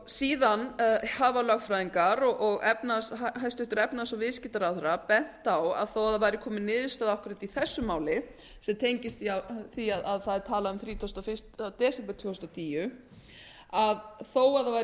síðan hafa lögfræðingar og hæstvirtur efnahags og viðskiptaráðherra bent á að þó að það væri komin niðurstaða akkúrat í þessu máli sem tengist því að talað er um þrítugasta og fyrsta desember tvö þúsund og tíu þó að það væri komin